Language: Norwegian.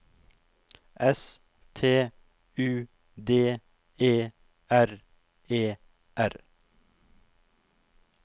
S T U D E R E R